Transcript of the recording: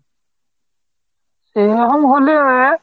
এ যখন হলো